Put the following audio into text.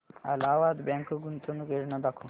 Allahabad bank गुंतवणूक योजना दाखव